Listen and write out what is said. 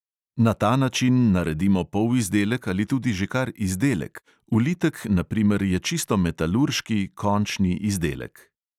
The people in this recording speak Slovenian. Na ta način naredimo polizdelek ali tudi že kar izdelek; ulitek na primer je čisto metalurški izdelek.